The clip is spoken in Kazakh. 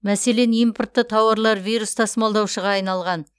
мәселен импортты тауарлар вирус тасымалдаушыға айналған